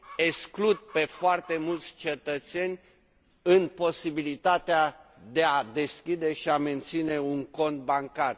exclud pentru foarte mulți cetățeni posibilitatea de a deschide și a menține un cont bancar.